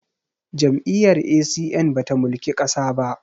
Jam'iyyar A.C.N ba ta mulki ƙasa ba